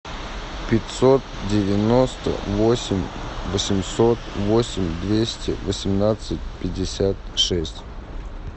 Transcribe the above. пятьсот девяносто восемь восемьсот восемь двести восемнадцать пятьдесят шесть